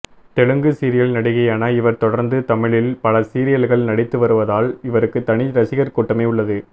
Telugu serial நடிகையான இவர் தொடர்ந்து தமிழில் பல சீரியல்கள் நடித்து வருவதால் இவருக்கு தனி ரசிகர் கூட்டமே உள்ளது